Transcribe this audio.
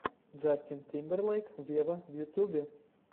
джастин тимберлейк вево в ютюбе